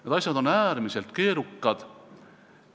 Need asjad on äärmiselt keerukad.